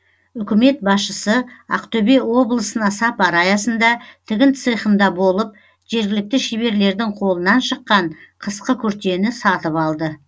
үкімет басшысы ақтөбе облысына сапары аясында тігін цехінде болып жергілікті шеберлердің қолынан шыққан қысқы күртені сатып алды